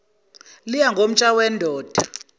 liya ngomutsha wendoda